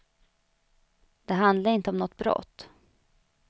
Det handlade inte om något brott.